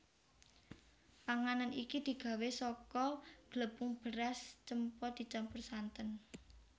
Panganan iki digawé saka glepung beras cempa dicampur santen